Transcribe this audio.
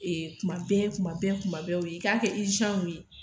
Kuma bɛɛ kuma bɛɛ kuma bɛɛ o ye